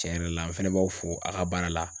Cɛn yɛrɛ la n fɛnɛ b'aw fo a' ka baara la.